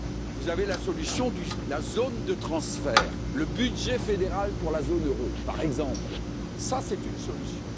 Vous avez la solution de la zone de transfert, le budget fédéral pour la zone euro, par exemple, c'est une solution.